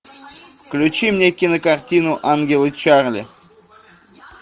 включи мне кинокартину ангелы чарли